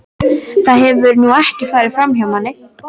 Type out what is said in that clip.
Það hefur nú ekki farið framhjá manni.